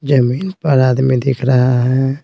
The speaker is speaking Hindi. जमीन पर आदमी दिख रहा है।